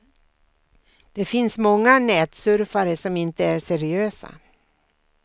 Det finns många nätsurfare som inte är seriösa.